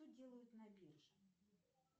что делают на бирже